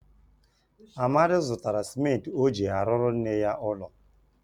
Amadi zutara simenti o ji aruru nne ya ulo.